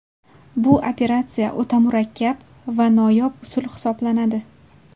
Bu operatsiya o‘ta murakkab va noyob usul hisoblanadi.